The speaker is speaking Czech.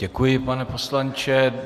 Děkuji, pane poslanče.